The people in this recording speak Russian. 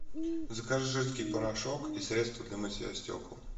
закажи жидкий порошок и средство для мытья стекол